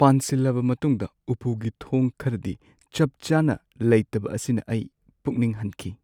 ꯄꯥꯟꯁꯤꯜꯂꯕ ꯃꯇꯨꯡꯗ ꯎꯄꯨꯒꯤ ꯊꯣꯡ ꯈꯔꯗꯤ ꯆꯞ ꯆꯥꯅ ꯂꯩꯇꯕ ꯑꯁꯤꯅ ꯑꯩ ꯄꯨꯛꯅꯤꯡ ꯍꯟꯈꯤ꯫